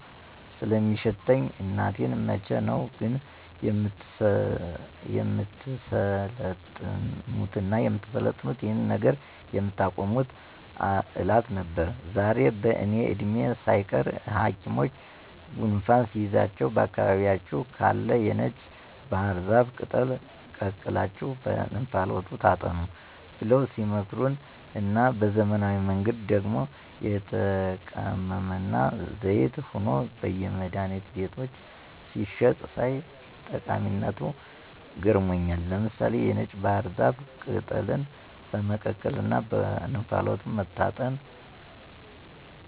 ስለሚሸተኝ እናቴን መቼ ነው ግን የምትሰለጥኑትና ይሄንን ነገር የምታቆሙት እላት ነበር። ዛሬ በእኔ እድሜ ሳይቀር ሀኪሞች ጉንፋን ሲይዛችሁ በአካባቢያችሁ ካለ የነጭ ባህር ዛፍ ቅጠል ቀቅላችሁ በእንፋሎቱ ታጠኑ ብለው ሲመክሩና በዘመናዊ መንገድ ደግሞ ተቀምሞና ዘይት ሆኖ በየመድሀኒት ቤቶች ሲሸጥ ሳይ ጠቀሚነቱ ገርሞኛል። ምሳሌ(የነጭ ባህር ዛፍ ቅጠልን በመቀቀልና በእንፋሎቱ መታጠን)